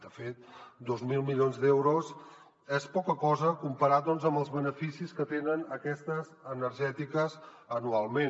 de fet dos mil milions d’euros és poca cosa comparat amb els beneficis que tenen aquestes energètiques anualment